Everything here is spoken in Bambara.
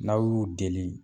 N'aw y'u deli.